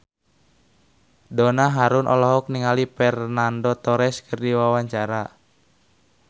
Donna Harun olohok ningali Fernando Torres keur diwawancara